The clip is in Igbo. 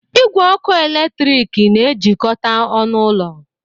Igwe ọkụ eletrik na-ejikọta ọnụ ụlọ